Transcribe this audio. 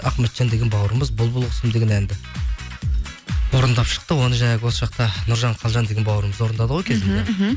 ахметжан деген бауырымыз бұлбұл құсым деген әнді орындап шықты оны жаңағы осы жақта нұржан қалжан деген бауырымыз орындады ғой кезінде мхм мхм